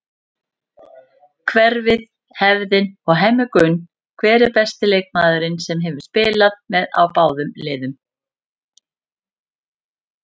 Hverfið, hefðin og Hemmi Gunn Hver er besti leikmaðurinn sem hefur spilað með báðum liðum?